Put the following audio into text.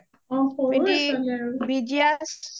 সৰুয়ে ছোৱালী আৰু